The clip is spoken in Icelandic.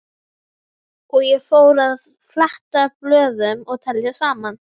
Og ég fór að fletta blöðum og telja saman.